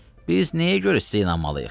Biz nəyə görə sizə inanmalıyıq?